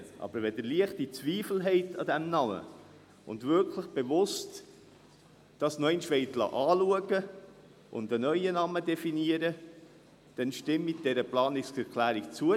Wenn Sie aber an diesem Namen leichte Zweifel haben und dies wirklich noch einmal bewusst anschauen und einen neuen Namen definieren lassen wollen, dann stimmen Sie dieser Planungserklärung zu.